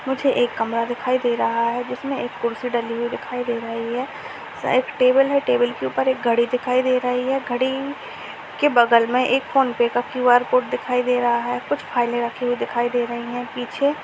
मुझे एक कमरा दिखाई दे रहा है। जिसमें एक कुर्सी डली हुई दिखाई दे रही है। साइड टेबल है। टेबल के ऊपर एक घड़ी दिखाई दे रहे हैं। घड़ी के बगल में एक फोनपे का क्यू.आर. कोड दिखाई दे रहा है। कुछ फाइलें रखी हुई दिखाई दे रही है पीछे।